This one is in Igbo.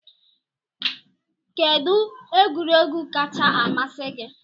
Kedụ egwuregwu kacha amasị gị?